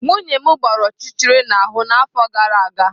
Nwunye m gbara ọchịchịrị n'ahụ n'afọ gara aga.